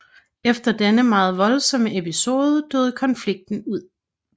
Efter denne meget voldsomme episode døde konflikten ud